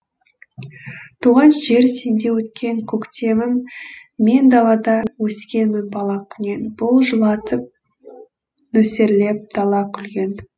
туған жер сенде өткен көктемім мен далада өскенмін бала күннен бұлт жылатып нөсерлеп дала күлген